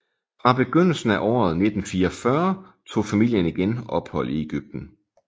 Fra begyndelsen af året 1944 tog familien igen ophold i Egypten